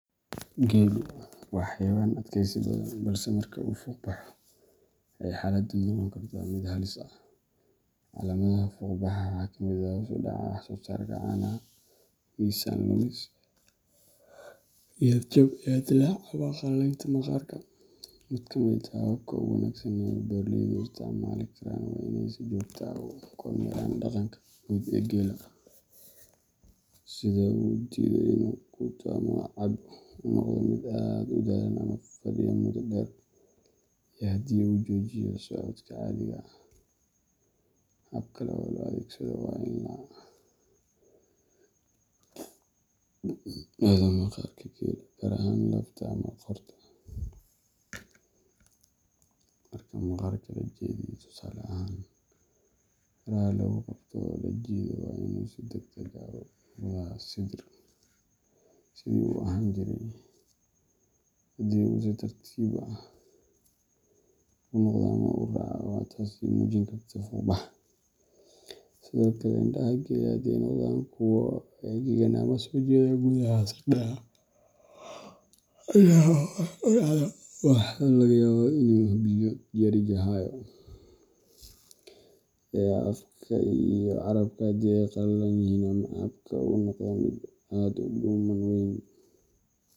Geelu waa xayawaan adkaysi badan, balse marka uu fuuqbaxo, waxay xaaladdu noqon kartaa mid halis ah. Calaamadaha fuuqbaxa waxaa ka mid ah hoos u dhaca wax-soosaarka caanaha, miisaan lumis, niyad jab, iyo dillaac ama qallalaynta maqaarka. Mid ka mid ah hababka ugu wanaagsan ee beeraleydu u isticmaali karaan waa inay si joogto ah u kormeeraan dhaqanka guud ee geela, sida inuu diido inuu quuto ama cabbo, uu noqdo mid aad u daallan ama fadhiya muddo dheer, iyo haddii uu joojiyo socodka caadiga ah. Hab kale oo la adeegsado waa in la baadho maqaarka geela, gaar ahaan laabta ama qoorta. Marka maqaarka la jeediyo tusaale ahaan faraha lagu qabto oo la jiido, waa inuu si degdeg ah ugu noqdaa sidii uu ahaan jiray. Haddii uu si tartiib ah ugu noqdo ama uu raago, waxay taasi muujin kartaa fuuqbax. Sidoo kale, indhaha geela haddii ay noqdaan kuwo engegan ama soo jeeda gudaha sagxadda indhaha oo hoos u dhacda, waxaa laga yaabaa inuu biyo yari hayo. Afka iyo carrabka haddii ay qallalan yihiin ama xabka uu noqdo mid aad u dhumuc weyn,